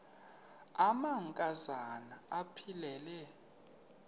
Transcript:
amanka zana aphilele